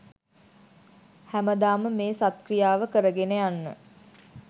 හැමදාම මේ සත් ක්‍රියාව කරගෙන යන්න